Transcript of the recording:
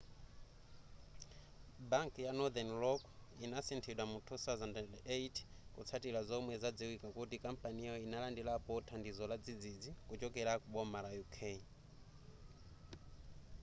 banki ya northern rock inasinthidwa mu 2008 kutsatira zomwe zadziwika kuti kampaniyo inalandirapo thandizo ladzidzidzi kuchokera ku boma la uk